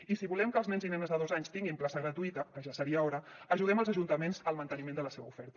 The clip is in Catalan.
i si volem que els nens i nenes de dos anys tinguin plaça gratuïta que ja seria hora ajudem els ajuntaments al manteniment de la seva oferta